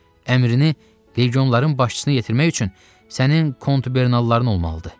Əmrini legionların başçısına yetirmək üçün sənin kontubernalların olmalıdır.